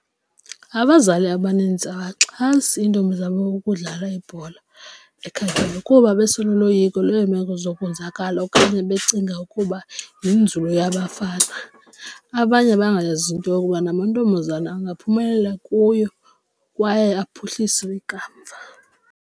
Abazali abaninzi abaxhasi iintombi zabo ukudlala ibhola ekhatywayo kuba besenoloyiko lweemeko zonzakala okanye becinga ukuba yinzulu yabafana abanye bangayaziyo into yokuba namantombazana angaphumelela kuyo kwaye aphuhlise ikamva.